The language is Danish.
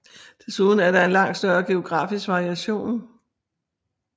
Desuden er der en langt større geografisk variation